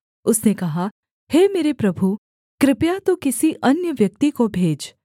उसने कहा हे मेरे प्रभु कृपया तू किसी अन्य व्यक्ति को भेज